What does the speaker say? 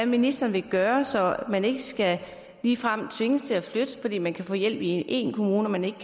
ministeren gøre så man ikke ligefrem skal tvinges til at flytte altså fordi man kan få hjælp i én kommune men ikke